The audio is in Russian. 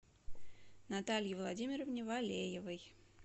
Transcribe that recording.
наталье владимировне валеевой